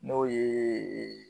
N'o ye